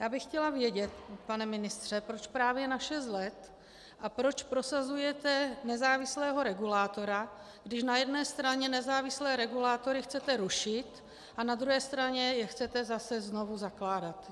Já bych chtěla vědět, pane ministře, proč právě na šest let a proč prosazujete nezávislého regulátora, když na jedné straně nezávislé regulátory chcete rušit a na druhé straně je chcete zase znovu zakládat.